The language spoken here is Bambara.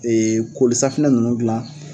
koli safunɛ ninnu gilan